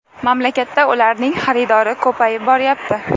Mamlakatda ularning xaridori ko‘payib boryapti.